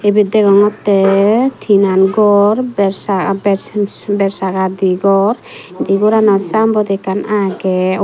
ibit degongotte tinan ghor bersaga di gor indi goranot sayenboard ekkan agey.